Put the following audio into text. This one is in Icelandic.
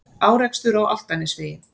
Árekstur á Álftanesvegi